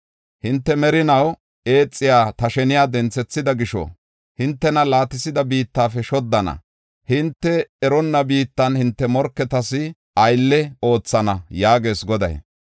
Hinte merinaw eexiya ta sheniya denthethida gisho, hintena laatisida biittafe shoddana; hinte eronna biittan hinte morketas aylle oothana” yaagees Goday.